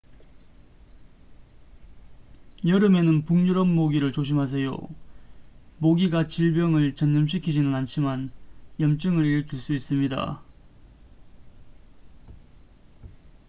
여름에는 북유럽 모기를 조심하세요 모기가 질병을 전염시키지는 않지만 염증을 일으킬 수 있습니다